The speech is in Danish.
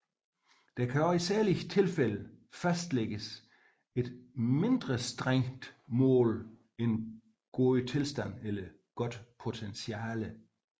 Der kan også i særlige tilfælde fastlægges et mindre strengt mål end god tilstand eller godt potentiale